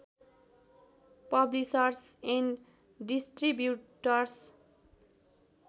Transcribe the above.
publishers and distributors